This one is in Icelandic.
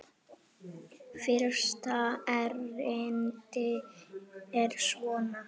Fyrsta erindi er svona